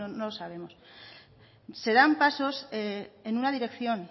no lo sabemos se dan pasos en una dirección